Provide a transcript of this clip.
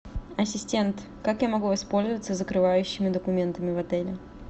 ассистент как я могу воспользоваться закрывающими документами в отеле